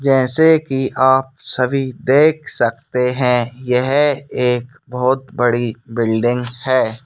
जैसे कि आप सभी देख सकते हैं यह एक बहुत बड़ी बिल्डिंग है।